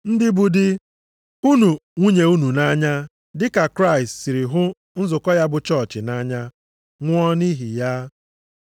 Ndị bụ di, hụnụ nwunye unu nʼanya dị ka Kraịst siri hụ nzukọ ya bụ chọọchị nʼanya nwụọ nʼihi ya.